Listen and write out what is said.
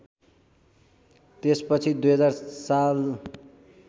त्यसपछि २००० साल